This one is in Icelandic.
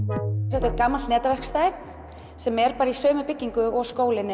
þetta er gamalt netaverkstæði sem er bara í sömu byggingu og skólinn